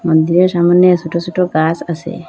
মন্দিরের সামোনে সোট সোট গাস আসে।